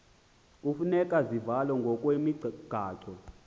hufuneka zivalwe ngokwemigaqo